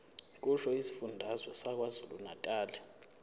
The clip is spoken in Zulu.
kusho isifundazwe sakwazulunatali